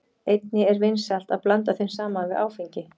Einnig er vinsælt að blanda þeim saman við áfengi.